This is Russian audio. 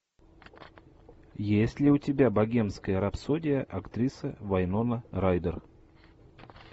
есть ли у тебя богемская рапсодия актриса вайнона райдер